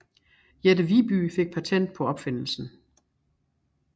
Jette Viby fik patent på opfindelsen